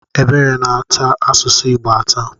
Ebere na-ata asụsụ Igbo atà.